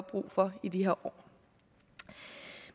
brug for i de her år